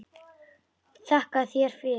Þakka þér fyrir!